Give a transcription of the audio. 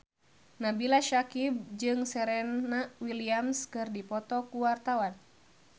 Nabila Syakieb jeung Serena Williams keur dipoto ku wartawan